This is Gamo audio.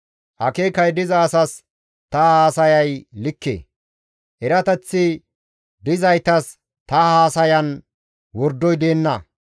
Akeekay diza asas ta haasayay likke; erateththi dizaytas ta haasayan wordoy deenna.